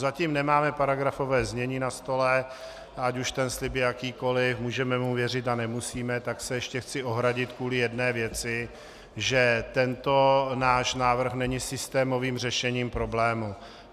Zatím nemáme paragrafované znění na stole, ať už ten slib je jakýkoli, můžeme mu věřit a nemusíme, tak se ještě chci ohradit kvůli jedné věci, že tento náš návrh není systémovým řešením problému.